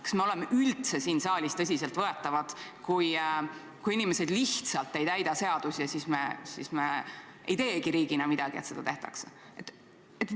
Kas me oleme üldse siin saalis tõsiselt võetavad, kui inimesed lihtsalt ei täida seadusi, meie aga ei tee riigina midagi, et seda siiski tehtaks?